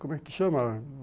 Como é que chama?